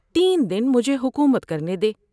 تین دن مجھے حکومت کرنے دے